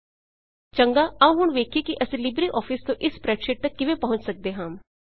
ਚੰਗਾ ਆਉ ਹੁਣ ਵੇਖੀਏ ਕਿ ਅਸੀਂ ਲਿਬ੍ਰੇ ਆਫਿਸ ਤੋਂ ਇਸ ਸਪ੍ਰੈਡਸ਼ੀਟ ਤੱਕ ਕਿਵੇਂ ਪਹੁੰਚ ਸੱਕਦੇ ਹਾਂ